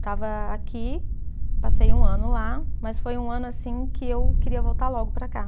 Estava aqui, passei um ano lá, mas foi um ano assim que eu queria voltar logo para cá.